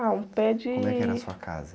Ah, um pé de...omo é que era a sua casa?